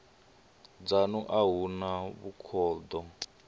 dzanu a hu na vhukhudo